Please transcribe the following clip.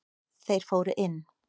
Þeir fóru inn.